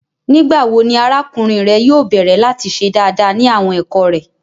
Nigbawo ni arakunrin rẹ yóò bẹrẹ lati ṣe daadaa ni awọn ẹkọ rẹ?